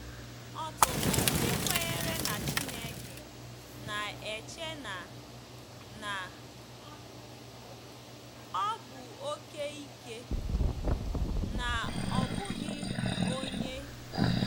Ọtụtụ ndị kwenyere na Chineke na-eche na na ọ bụ oke ike, na ọ bụghị onye.